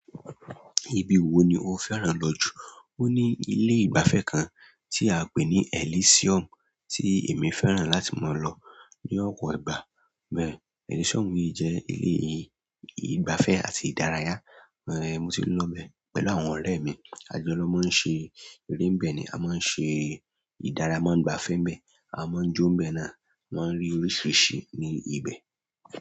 Ibi wo ni o fẹ́ràn lọ jù? Ó ní ilé ìgbafẹ́ kan tí a ń pè ní Elysium tí èmi fẹ́ràn láti máa lọ ní ọ̀pọ̀ ìgbà bẹ́ẹ̀ì. Elysium yí jẹ́ ilé ìgbafẹ́ àti ìdárayá. Ni mo ṣe lọ ibẹ̀ pẹ̀lú àwọn ọ̀rẹ́ mí ajọ lọ máa ń ṣe eré ń bẹ ní à máa ṣe idara a máa ń gbafe ń bẹ a mọ ń jó ń bẹ náà, wọ́n ní oríṣiríṣi ní ibi ibè.